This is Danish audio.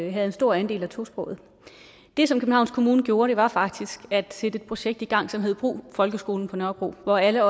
en stor andel af tosprogede det som københavns kommune gjorde var faktisk at sætte et projekt i gang som hed brug folkeskolen på nørrebro hvor alle